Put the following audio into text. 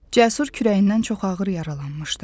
Cəsur kürəyindən çox ağır yaralanmışdı.